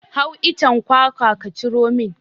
Hau icen kwakwa ka ciro min!